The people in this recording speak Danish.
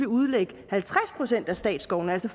udlægge halvtreds procent af statsskovene altså